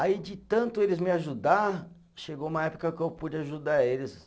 Aí, de tanto eles me ajudar, chegou uma época que eu pude ajudar eles.